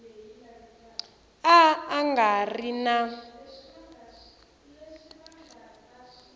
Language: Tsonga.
a a nga ri na